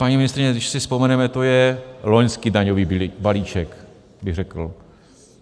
Paní ministryně, když si vzpomeneme, to je loňský daňový balíček, bych řekl.